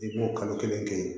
I b'o kalo kelen kɛ yen